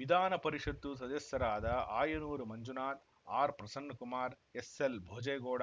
ವಿಧಾನಪರಿಷತ್ತು ಸದಸ್ಯರಾದ ಆಯನೂರು ಮಂಜುನಾಥ್‌ ಆರ್‌ಪ್ರಸನ್ನಕುಮಾರ್‌ ಎಸ್‌ಎಲ್‌ ಭೋಜೇಗೌಡ